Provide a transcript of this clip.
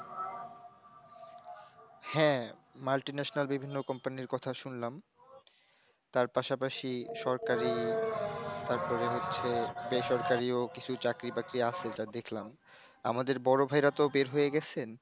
হ্যাঁ, multinational বিভিন্ন Company র কথা শুনলাম। তার পাশাপাশি সরকারি তারপরে হচ্ছে বেসরকারি ও কিছু চাকরি বাকরি আছে যা দেখলাম, আমাদের বড় ভাইরা তো বের হয়ে গেছেন।